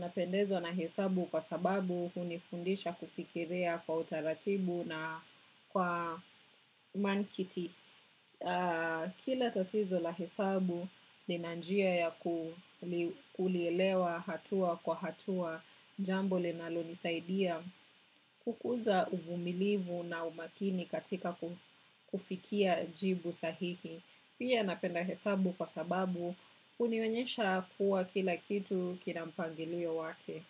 Napendezwa na hesabu kwa sababu hunifundisha kufikiria kwa utaratibu na kwa mankiti. Kila tatizo la hesabu nina njia ya kulielewa hatua kwa hatua jambo linalo nisaidia kukuza uvumilivu na umakini katika kufikia jibu sahihi. Pia napenda hesabu kwa sababu unionyesha kuwa kila kitu kina mpangilio wake.